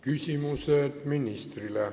Küsimused ministrile.